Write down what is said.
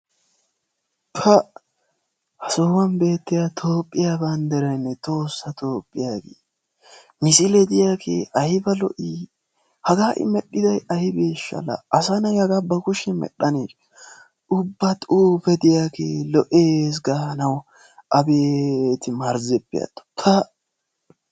Pa! ha sohuwan beettiya Toophiyaa banddiraynne Tohossa Toophiyaa banddiray, misile diyaage aybba lo''i! haga medhdhiday aybbeshsha! asanay haga ba kushiyaan medhdhanne ubbaa xuufe diyaagee lo''ees gaanaw! abeeti marzzeppe atto! pa!